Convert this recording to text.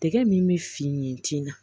Tɛgɛ min bɛ finen tina